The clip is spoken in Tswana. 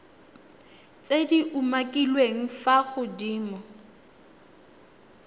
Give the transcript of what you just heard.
tse di umakiliweng fa godimo